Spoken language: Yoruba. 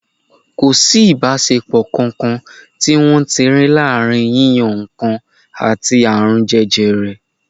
Kò sí ìbáṣepọ̀ kankan tí wọ́n ti rí láàrin yíyan nǹkan àti àrùn jẹjẹrẹ.